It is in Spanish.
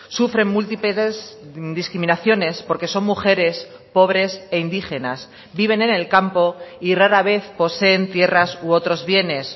sufren multitudes discriminaciones porque son mujeres pobres e indígenas viven en el campo y rara vez poseen tierras u otros bienes